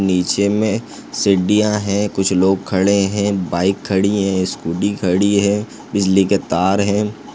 निचे में सीढ़िया है कुछ लोग खड़े है बाइक खड़ी हैं स्कूटी खड़ी हैं बिजली के तार हैं।